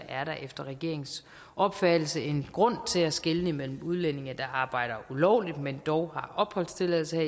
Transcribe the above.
er der efter regeringens opfattelse en grund til at skelne imellem udlændinge der arbejder ulovligt men dog har opholdstilladelse